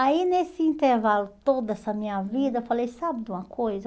Aí, nesse intervalo todo, essa minha vida, eu falei, sabe de uma coisa?